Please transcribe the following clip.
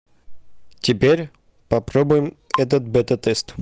теперь попробуем этот бета тест